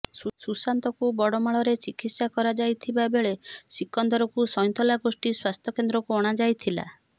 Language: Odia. ସୁଶାନ୍ତଙ୍କୁ ବଡ଼ମାଳରେ ଚିକିତ୍ସା କରା ଯାଇଥିବା ବେଳେ ସିକନ୍ଦରଙ୍କୁ ସଇଁନ୍ତଲା ଗୋଷ୍ଠୀ ସ୍ୱାସ୍ଥ୍ୟକେନ୍ଦ୍ରକୁ ଅଣା ଯାଇଥିଲା